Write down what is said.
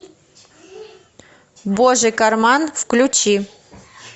божий карман включи